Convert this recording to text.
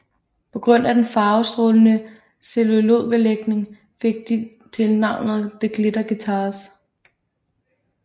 På grund af den farvestrålende celluloidbelægning fik de hurtigt tilnavnet The Glitter Guitars